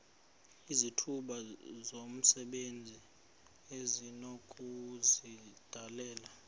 izithuba zomsebenzi esinokuzidalela